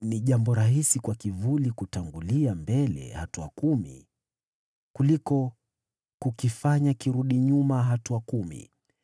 “Ni jambo rahisi kwa kivuli kutangulia mbele hatua kumi, kuliko kukifanya kirudi nyuma hatua kumi.”